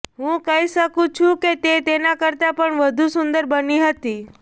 હું કહી શકું છું કે તે તેના કરતાં પણ વધુ સુંદર બની હતી